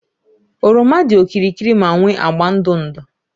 oroma dị okirikiri ma nwee agba ndụ ndụ